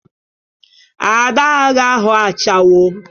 Ada agaghị aghọ ashawo.